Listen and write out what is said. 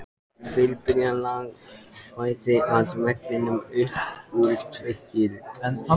Fyrirbærið lagði bæði að velli upp úr tvítugu.